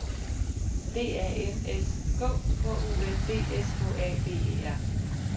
D A N S K K U N D S K A B E R